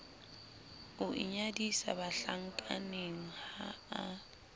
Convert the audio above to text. o inyadisa bahlankaneng ha a